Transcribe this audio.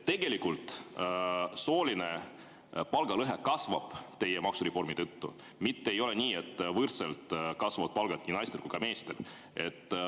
Tegelikult teie maksureformi tõttu sooline palgalõhe kasvab, mitte ei ole nii, et naistel ja meestel kasvavad palgad võrdselt.